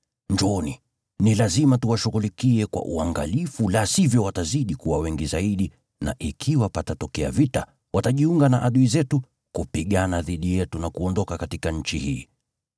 Njooni, ni lazima tuwashughulikie kwa uangalifu, la sivyo watazidi kuwa wengi zaidi, na ikiwa patatokea vita, watajiunga na adui zetu kupigana dhidi yetu na kuondoka katika nchi hii.”